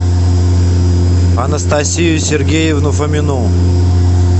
анастасию сергеевну фомину